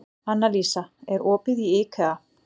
Annalísa, er opið í IKEA?